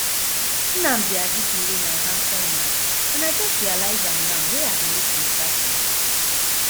nnamdi azikiwe na handsome man and i just realize am now wey i dey look im statue